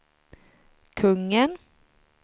kungen